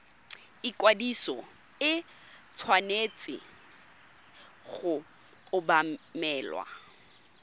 ikwadiso e tshwanetse go obamelwa